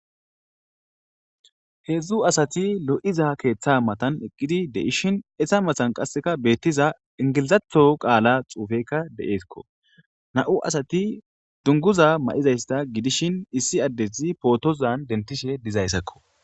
heedzdzu asati lo'iza keeththa matan eqqidi de'ishshin etta matan qassekka beettiza ingilizaththo qaala xuufeyikka de'essikko na'u asati dunguza ma'izayssa gidishin issi addezi pootozan dentiishshe dizayssakko